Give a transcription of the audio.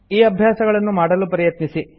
ಈ ಅಭ್ಯಾಸಗಳನ್ನು ಮಾಡಲು ಪ್ರಯತ್ನಿಸಿ